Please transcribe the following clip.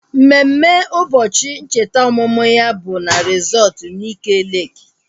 Mmemme ụbọchị ncheta ọmụmụ ya bụ na resọtu Nike Leeki